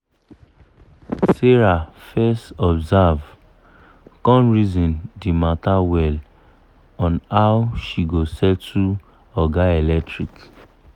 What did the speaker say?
sarah fes observe come reason d matter well on how she go settle oga electric